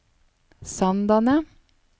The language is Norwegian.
Sandane